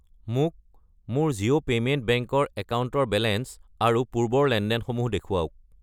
মোক মোৰ Jio payment bank ৰ একাউণ্টৰ বেলেঞ্চ আৰু পূৰ্বৰ লেনদেনসমূহ দেখুৱাওক।